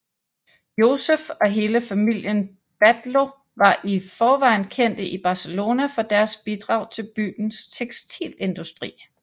Josep og hele familien Batlló var i forvejen kendte i Barcelona for deres bidrag til byens tekstilindustri